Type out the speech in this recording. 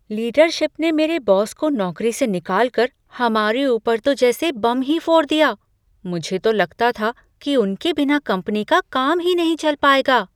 Leadership ने मेरे boss को नौकरी से निकालकर हमारे ऊपर तो जैसे बम ही फोड़ दिया, मुझे तो लगता था कि उनके बिना कंपनी का काम ही नहीं चल पाएगा।